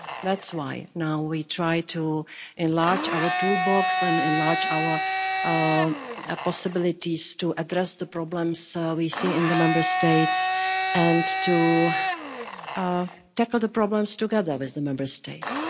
That's why now we are trying to enlarge our toolbox and enlarge our possibilities to address the problems we see in the Member States and to tackle the problems together with the Member States.